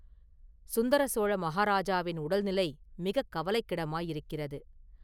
சுந்தரசோழ மஹாராஜாவின் உடல்நிலை மிகக் கவலைக்கிடமாயிருக்கிறது.